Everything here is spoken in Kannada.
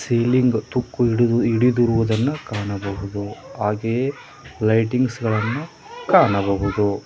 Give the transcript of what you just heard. ಸೀಲಿಂಗ್ ತುಕ್ಕು ಹಿಡಿದು ಹಿಡಿದಿರುವುದನ್ನು ಕಾಣಬಹುದು ಹಾಗೆಯೇ ಲೈಟಿಂಗ್ಸ್ ಗಳನ್ನು ಕಾಣಬಹುದು.